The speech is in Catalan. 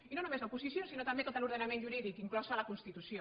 i no només l’oposició sinó també tot l’ordenament jurídic inclosa la constitució